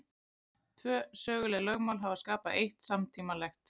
Tvö söguleg lögmál hafa skapað eitt samtímalegt.